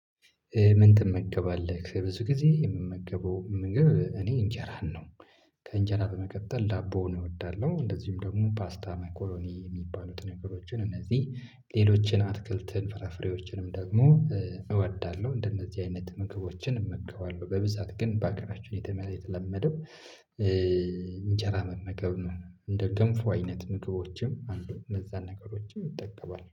ምን? ትመገባለህ ብዙ ጊዜ የምመገበው ምግብ እኔ እንጀራን ነው። ከእንጀራ በመቀጠል ዳቦ እወዳለሁ እንደዚሁም ደግሞ ፓስታ መኮሮኒ የሚባሉትን ነገሮችን እነዚህ ሌሎችን አትክልትን ፍራፍሬዎችንም ደግሞ እወዳለሁ። እንደነዚህ አይነት ምግቦችን እመግበለሁ በብዛት ግን በሀገራችን የተለመደው እንጀራ መመገብ ነው። እንደ ገንፎ አይነት ምግቦችም አሉን እነዛን ነገሮችም እጠቀማለሁ